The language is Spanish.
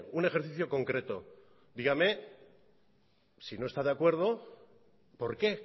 un ejercicio concreto dígame si no está de acuerdo por qué